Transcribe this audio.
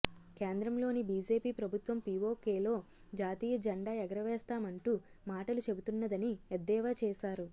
కేంద్రంలోని బీజేపీ ప్రభుత్వం పీవోకేలో జాతీయ జెండా ఎగరవేస్తామంటూ మాటలు చెబుతున్నదని ఎద్దేవ చేశారు